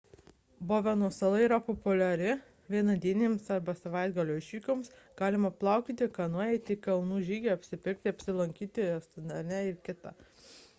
boveno sala yra populiari vienadienėms arba savaitgalio išvykoms – galima paplaukioti kanoja eiti į kalnų žygį apsipirkti apsilankyti restorane ir kt